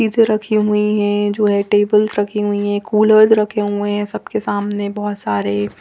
सीसर रखी हुई है जो है टेबल्स रखी हुई है कोलेब रखे हुए है सबके सामने बोहोत सारे--